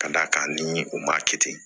Ka d'a kan ni u maa kɛ ten